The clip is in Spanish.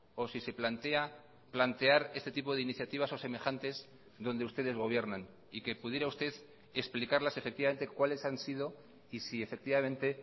o si se plantea plantear este tipo de iniciativas o semejantes donde ustedes gobiernan y que pudiera usted explicarlas efectivamente cuáles han sido y si efectivamente